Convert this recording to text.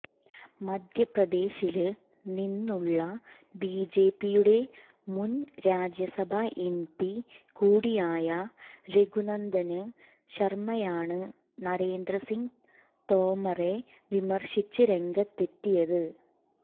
മധ്യപ്രദേശില് നിന്നുള്ള ബിജെപിയുടെ മുന് രാജ്യസഭ എംപി കൂടിയായ രഘുനന്ദന് ശര്മയാണ് നരേന്ദ്രസിങ് തോമറെ വിമര്ശിച്ച് രംഗത്തെത്തിയത്